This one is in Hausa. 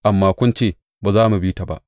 Amma kun ce, Ba za mu bi ta ba.’